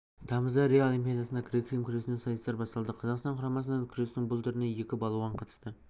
тамызда рио олимпиадасында грек рим күресінен сайыстар басталды қазақстан құрамасынан күрестің бұл түріне екі балуан қатысты